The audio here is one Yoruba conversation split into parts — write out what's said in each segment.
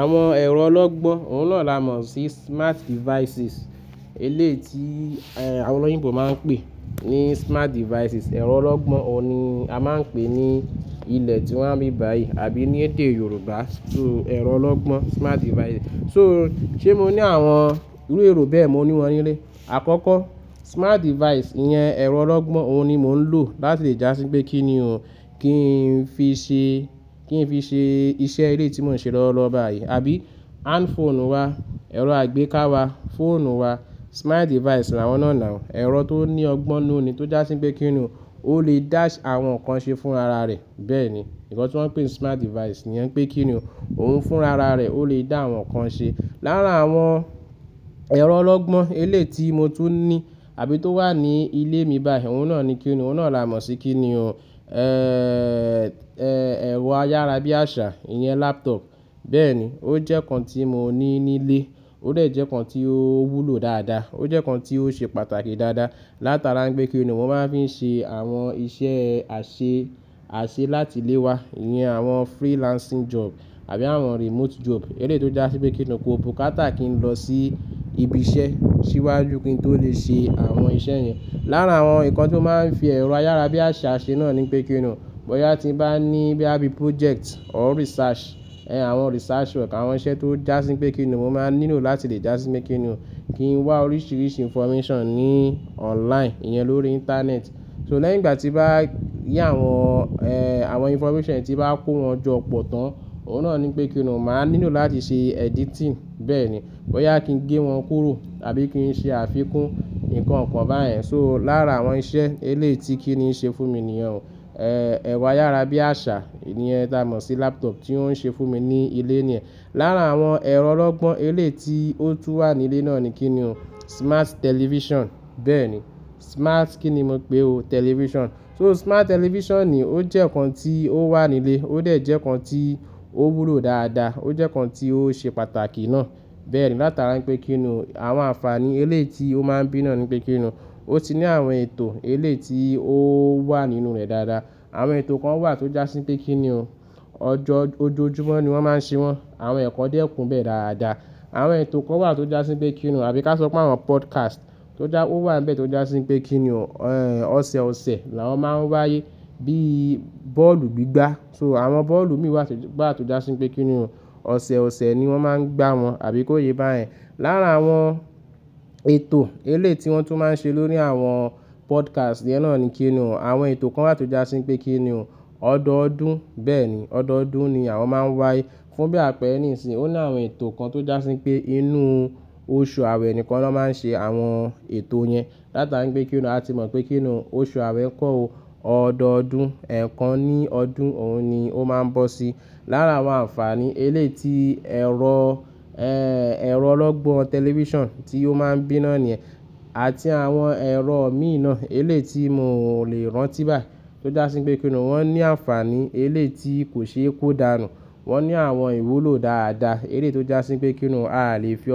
Àwọn ẹ̀rọ ọlọ́gbọ́n, òun náà là mọ̀ sí smart devices. Eleyii ti àwọn olóyìnbo máa ń pè ní smart devices. Ẹ̀rọ ọlọ́gbọ́n òun ni a máa ń pè ní ilẹ̀ tíwa ni ibí báyìí àbí ní èdè Yorùbá, so ẹ̀rọ ọlọ́gbọ́n smart devices. So ṣé mo ní àwọn irú èrò bẹ́ẹ̀? Mò ní wọn nílé. Àkọ́kọ́ smart device yẹn, ẹ̀rọ ọlọ́gbọ́n òun ni mò ń lò láti lè já sí pé kíni ò kí n fi ṣe, kí n fi ṣe iṣẹ́ eleyii tí mò ń ṣe lọwolowo báyìí. Abí handphone wa, ẹ̀rọ àgbéká wa, phone wa, smart device làwọn náà now. Ẹ̀rọ tó ní ọgbọ́n ninù ni tó já sí pé kíni ò, ó lè dá àwọn nǹkan ṣe fún ara rẹ̀. Bẹ́ẹ̀ ni, nǹkan tí wọ́n ń pè ni smart device nìyẹn pé kíni ò, òun fún ara rẹ̀ ó lè dá àwọn nǹkan ṣe. Lára àwọn ẹ̀rọ ọlọ́gbọ́n eleyii ti mo tún ní àbí tó wà ní ilé mi báyìí, òun náà ni kíni, òun náà là mọ̀ sí kíni ò, ẹ̀rọ ayára bí àṣá, ìyẹn laptop. Bẹ́ẹ̀ ni, ó jẹ́ nǹkan tí mo ní nílé, ó de jẹ́ nǹkan tí ó wúlò dáadáa, ó jẹ́ nǹkan tí ó ṣe pàtàkì dáadáa. Látara wipé kíni ò, mo máa ń fi n ṣe àwọn iṣẹ́ àṣẹ, àṣẹ láti ilé wa, ìyẹn àwọn freelancing job àbí àwọn remote job. Eléyii tò já sí pé kíni ò ko bukátà kí n lọ sí ibi iṣẹ́, ṣíwájú kí n tó lè ṣe àwọn iṣẹ́ yẹn. Lára àwọn nǹkan tí mó máa ń fi ẹ̀rọ ayára bí àṣá ṣe náà ni pé kíni ò, bóyá tí n bá ní boya bíi project or research, àwọn research work àwọn iṣẹ́ tó já sí pé kíni ò, mo máa nílò láti lè já sí pé kíni ò kí n wá oríṣìíríṣìí information ní online, ìyẹn lórí ìntanẹ́ẹ̀tì. So lẹ́yìn ìgbà tí n bá rí àwọn àwọn information tí bá kó wọn jọ pọ̀ tán, òun náà ni pé kíni ò, mà á nílò láti ṣe editing. Bẹ́ẹ̀ ni, bóyá kí n gé wọn kúrò àbí kí n ṣe àfikún ǹkan kan báyẹn. So lára àwọn iṣẹ́ eléyii ti kíni ń ṣe fún mi níyen o ẹ̀rọ ayára bí àṣá, ìyẹn táa mọ̀ sí laptop tí ó ń ṣe fún mi ní ilé niyẹn. Lára àwọn ẹ̀rọ ọlọ́gbọ́n eléeti ó tún wà nílé náà ni kí ni òun, smart television. Bẹ́ẹ̀ ni, smart kíni mo pè é o, television. So smart television ni ó jẹ́ nǹkan tí ó wà nílé, ó dr jẹ́ nǹkan tí ó wúlò dáadáa, ó jẹ́ nǹkan tí ó ṣe pàtàkì náà. Bẹ́ẹ̀ ni látara wipé kíni ò, àwọn àǹfààní eleyii ti ó máa ń bí náà ni pé kíni ò, ó ti ní àwọn ètò eleyii ti ó wà nínú rẹ̀ dáadáa. Àwọn ètò kan wà tó já sí pé kíni ò, ọjọ́, ojojúmọ́ ni wọ́n máa ń ṣe wọn, àwọn ẹ̀kọ́ dé po nibe dáadáa. Àwọn ètò kan wà tó já sí pé kíni ò, àbí ká sọ pé àwọn podcast tó já, ó wà níbẹ̀ tó já sí pé kíni ò, ọ̀sẹ̀ ọ̀sẹ̀ làwọ́n máa ń wáyé bíi bọ́ọ̀lù gbígbá. So àwọn bọ́ọ̀lù mìí wa tó já sí pé kíni ò, ọ̀sẹ̀ ọ̀sẹ̀ ni wọ́n máa ń gbá wọn àbí kó yé báyẹn. Lára àwọn ètò eléyii ti wọ́n tún máa ń ṣe lórí àwọn podcast iyẹn náà ni kíni ò, àwọn ètò kan wà tó já sí pé kí ni ò, ọdọọdún. Bẹ́ẹ̀ ni, ọdọọdún ni àwọn máa ń wáyé fún bí àpẹ̀rẹ́ nísinyí. Ó ní àwọn ètò kan tó já sí pé inú oṣù àwẹ̀ nìkan ló máa ń ṣe àwọn ètò yẹn. Látara wipé kíni ò, a ti mọ̀ pé kíni ò, oṣù awẹ̀ nkọ́ o, ọdọọdún ẹ̀ẹ̀kan ní ọdún òun ni ó máa ń bọ́ sí. Lára àwọn àǹfààní eleyii ti ẹ̀rọ ẹ̀rọ ọlọ́gbọ́n television tí ó máa ń bí náà níyẹn àti àwọn ẹ̀rọ mìí naa eléyi ti mo lè rántí báyi tó já sí pé kíni ò, wọ́n ní àǹfààní eléyii ti kò ṣe é kó dànù. Wọ́n ní àwọn ìwúlò dáadáa eléyii tò já sí pé kíni ò, a lè fi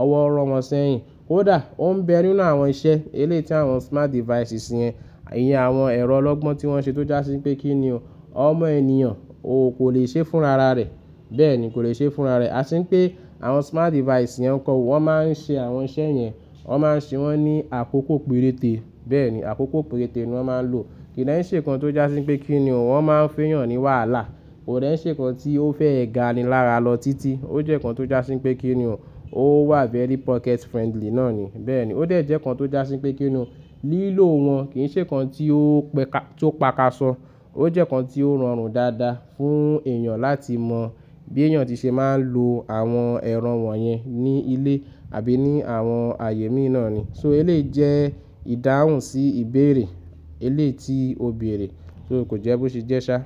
ọwọ́ rọ̀ wọ́n sẹ́yìn. Koda, ó ń bẹ nínú àwọn iṣẹ́ eléyii ti àwọn smart devices yẹn, ìyẹn àwọn ẹ̀rọ ọlọ́gbọ́n tí wọ́n ṣe tó já sí pé kíni ò, ọmọ ènìyàn ò kó le ṣe fún ara rẹ̀. Bẹ́ẹ̀ ni, kò lè ṣe fún ara rẹ̀. Ati wipé àwọn smart device yen nǹkan wò, wọ́n máa ń ṣe àwọn iṣẹ́ yẹn, wọ́n máa ń ṣe wọ́n ní àkókò péréte. Bẹ́ẹ̀ ni, àkókò péréte ni wọ́n máa ń lò. Kì de n ṣe nǹkan tó já sí pé kíni ò, wọ́n máa ń fẹ́eyàn ní wàhálà. Kò de n ṣe nǹkan tí ó fẹ́ ẹ gàni lára lọ títí. Ó jẹ́ nǹkan tó já sí pé kíni ò, ó wà very pocket friendly náà ni. Bẹ́ẹ̀ ni, ó de jẹ́ nǹkan tó já sí pé kíni ò, lílò wọn kì n ṣe nǹkan tí ó pé ká, tó pakasọ. Ó jẹ́ nǹkan tí ó rọrùn dáadáa fún èèyàn láti mọ bí èèyàn tí ṣe máa ń lo àwọn ẹ̀rọ wọ̀nyẹn ní ilé àbí ní àwọn ààyè mìí naa ni. So eléyii jẹ́ ìdáhùn sí ìbéèrè eléyii ti ò béèrè, so kò jẹ́ bó ṣe jẹ́ ṣá.